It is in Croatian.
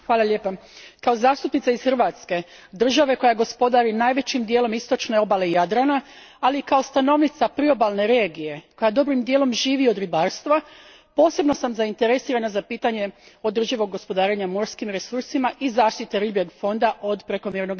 Kao zastupnica iz Hrvatske, države koja gospodari najvećim dijelom istočne obale Jadrana, ali i kao stanovnica priobalne regije koja dobrim dijelom živi od ribarstva, posebno sam zainteresirana za pitanje održivog gospodarenja morskim resursima i zaštite ribljeg fonda od prekomjernog izlova.